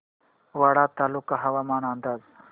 वाडा तालुका हवामान अंदाज